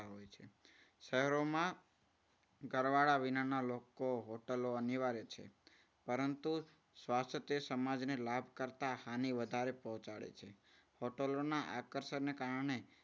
શહેરોમાં ઘરવાળા વિનાના લોકો હોટલો અનિવાર્ય છે. પરંતુ સ્વાસ્થ્ય તે સમાજને લાભ કરતા હાની વધારે પહોંચાડે છે. હોટલોના આકર્ષણને કારણે